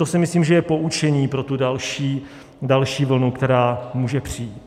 To si myslím, že je poučení pro tu další vlnu, která může přijít.